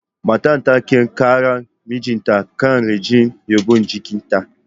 Matar ta kai karar mijinta kan rashin yabon jikinta.